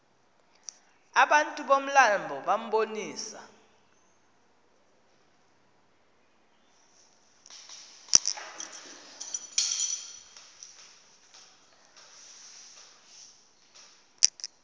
abantu bomlambo bambonisa